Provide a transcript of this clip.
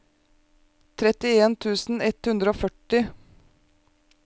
trettien tusen ett hundre og førti